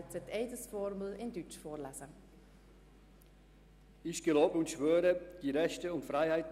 Ich bitte alle Anwesenden, sich zu erheben.